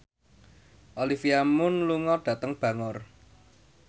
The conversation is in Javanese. Olivia Munn lunga dhateng Bangor